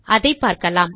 அதை பார்க்கலாம்